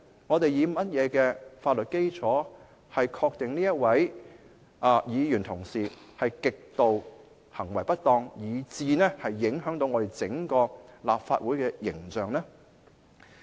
我們以甚麼法律基礎確定這位議員的行為極度不當，以致影響整個立法會的形象呢？